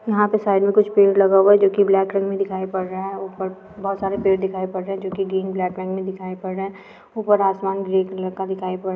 यहाँ पर साइड में कुछ पेड़ लगा हुआ है जो कि ब्लैक रंग में दिखाई पड़ रहा है ऊपर बहुत सारे पेड़ दिखाई पड़ रहे है जो कि ग्रीन ब्लैक रंग में दिखाई पड़ रहे है ऊपर आसमान ग्रे कलर का दिखाई पड़ रहा है ।